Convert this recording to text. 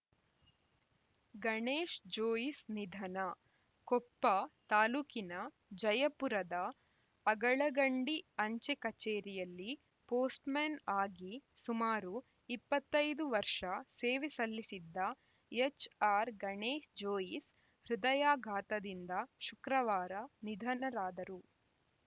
ಗಣೇಶ್‌ಜೋಯಿಸ್‌ ನಿಧನ ಕೊಪ್ಪ ತಾಲೂಕಿನ ಜಯಪುರದ ಅಗಳಗಂಡಿ ಅಂಚೆ ಕಚೇರಿಯಲ್ಲಿ ಪೋಸ್ಟ್‌ಮ್ಯಾನ್‌ ಆಗಿ ಸುಮಾರು ಇಪ್ಪತ್ತೈದು ವರ್ಷ ಸೇವೆ ಸಲ್ಲಿಸಿದ್ದ ಎಚ್‌ಆರ್‌ ಗಣೇಶ್‌ಜೋಯಿಸ್‌ ಹೃದಯಾಘಾತದಿಂದ ಶುಕ್ರವಾರ ನಿಧನರಾದರು